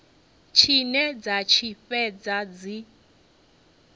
tshine dza tshi fhedza dzi